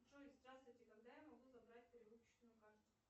джой здравствуйте когда я могу забрать перевыпущенную карту